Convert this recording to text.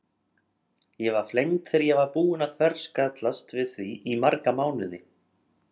Ég var flengd þegar ég var búin að þverskallast við því í marga mánuði.